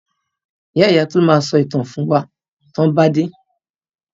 Ìya ìya Tolu ma sọ ìtàn fún wa tọ́n bà dé.